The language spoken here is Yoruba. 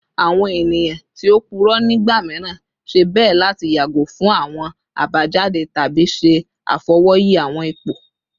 Awọn eniyan ti o purọ nigba miiran ṣe bẹ lati yago fun awọn abajade tabi ṣe afọwọyi awọn ipo